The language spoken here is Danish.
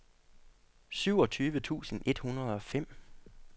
syvogtyve tusind et hundrede og fem